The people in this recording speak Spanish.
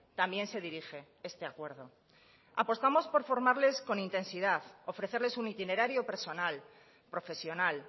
también se dirige este acuerdo apostamos por formarles con intensidad ofrecerles un itinerario personal profesional